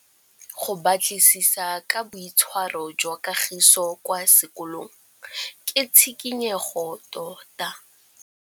Go batlisisa ka boitshwaro jwa Kagiso kwa sekolong ke tshikinyêgô tota.